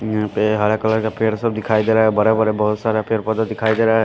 यहाँ पे हरे कलर का पेड़ सब दिखाई दे रहा है बड़ा बड़ा बहुत सारा पेड़ पौधा दिखाई दे रहा है।